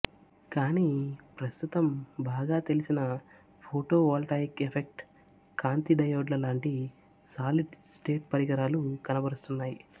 కానీ ప్రస్తుతం బాగా తెలిసిన ఫోటోవోల్టాయిక్ ఎఫెక్ట్ కాంతిడయోడ్ల లాంటి సాలిడ్ స్టేట్ పరికరాలు కనబరుస్తున్నాయి